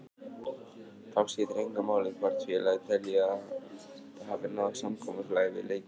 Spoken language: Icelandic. Þá skiptir engu máli hvort félagið telji að það hafi náð samkomulagi við leikmanninn.